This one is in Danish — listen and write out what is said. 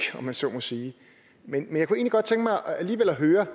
om man så må sige men jeg kunne egentlig godt tænke mig alligevel at høre